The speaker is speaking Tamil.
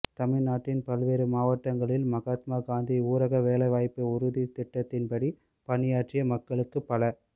தமிழ் நாட்டின் பல்வேறு மாவட்டங்களில் மகாத்மா காந்தி ஊரக வேலைவாய்ப்பு உறுதித் திட்டத்தின்படி பணியாற்றிய மக்களுக்கு பல